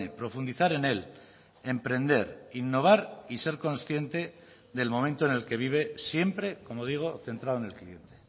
profundizar en él emprender innovar y ser consciente del momento en el que vive siempre como digo centrado en el cliente